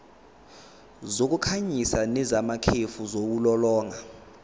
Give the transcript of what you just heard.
zokukhanyisa nezamakhefu ziwulolonga